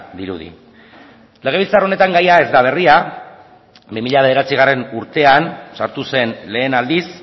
dirudi legebiltzar honetan gaia ez da berria bi mila bederatzigarrena urtean sartu zen lehen aldiz